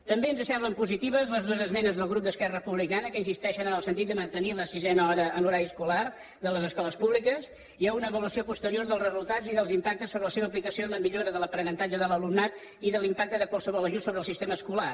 també ens semblen positives les dues esmenes del grup d’esquerra republicana que insisteixen en el sentit de mantenir la sisena hora en l’horari escolar de les escoles públiques i a una avaluació posterior dels resultats i dels impactes sobre la seva aplicació en la millora de l’aprenentatge de l’alumnat i de l’impacte de qualsevol ajust sobre el sistema escolar